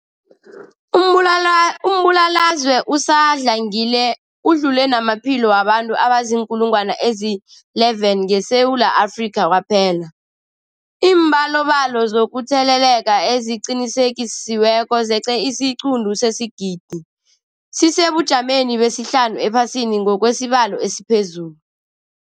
Umbulala, umbulalazwe usadlangile udlule namaphilo wabantu abaziinkulungwana ezi-11 ngeSewula Afrika kwaphela. Iimbalobalo zokutheleleka eziqinisekisiweko zeqe isiquntu sesigidi, sisesebujameni besihlanu ephasini ngokwesibalo esiphezulu.